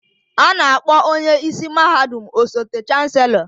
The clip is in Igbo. A na-akpọ onye isi mahadum osote Chancellor